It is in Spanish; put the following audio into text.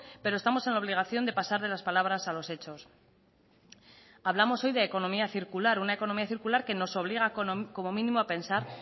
pero estamos en obligación de pasar de las palabras a los hechos hablamos hoy de economía circular una economía circular que nos obliga como mínimo a pensar